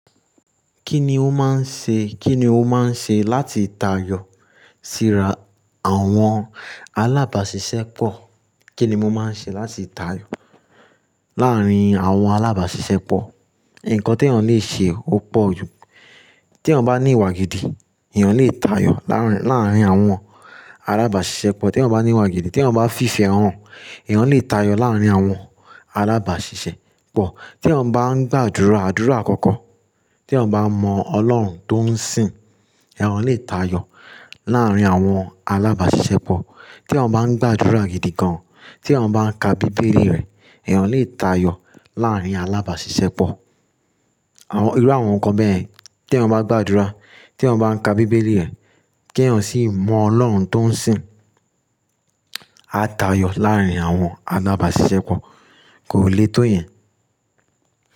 Kíni ó máa ń ṣe, kíni ó máa ń ṣe láti tayọ síra àwọn alábàáṣiṣẹ́ pọ̀? Kíni mo máa ń ṣe láti tayọ láàárín àwọn alábàáṣiṣẹ́ pọ̀? Ǹkan tí èèyàn le ṣe ó pọ̀ jù. Tí èèyàn bá ní ìwà gidi, èèyàn lè tayọ láàárín, láàárín àwọn alábàáṣiṣẹ́ pọ̀. Tí èèyàn bá ní ìwà gidi, tí èèyàn bá fi ìfẹ́ hàn, èèyàn lè tayọ láàárín àwọn alábàáṣiṣẹ́ pọ̀. Tí èèyàn bá ń gbàdúrà, àdúrà àkọ́kọ́. Tí èèyàn bá mọ Ọlọ́run tó ń sìn, èèyàn lè tayọ láàárín àwọn alábàáṣiṣẹ́ pọ̀. Tí èèyàn bá ń gbàdúrà gidi gan an, tí èèyàn bá ń ka Bíbélì rẹ̀, èèyàn lè tayọ láàárín alábàáṣiṣẹ́ pọ̀. Àwọn, irú àwọn nǹkan bẹ́ẹ̀, tí èèyàn bá gbàdúrà, tí èèyàn bá ń ka Bíbélì rẹ̀, kí èèyàn sì mọ Ọlọ́run tó ń sìn, á tayọ láàárín àwọn alábàáṣiṣẹ́ pọ̀, kò lé tó ìyẹn.